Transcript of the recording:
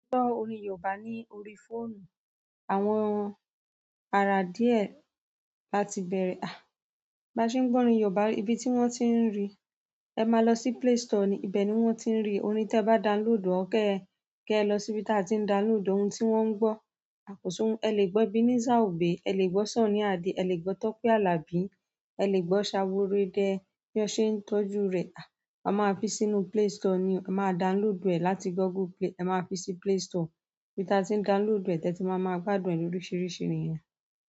Gbọ orin yoòbá ní orí fóònù, àwọn ara díẹ̀ láti bẹ̀rẹ̀, bá ṣe ń gbọ́ orin yoòbá ibi tí wọ́n tí ń rí, ẹ máa lọ sí Play Store ni ibẹ̀ ni wọ́n ti ń rí, orin tẹ bá download or ke ẹ lọ síbi tí a ti ń download ohun tí wọ́n ń gbọ́ e le gbọ Ebennezer Obey, e le gbọ Sunny Ade, e le gbọ Tope Alabi, e le gbọ ṣaworo idẹ, bi wọn ṣe tọ́jú rẹ, a máa fi sí inú play store ni o, a maa download e láti Google Play, a máa fi sí play store ibi tí a ti ń download ẹ̀ tẹ ti máa máa gbádùn ẹ̀ lòriṣìrìṣìí nìyẹn.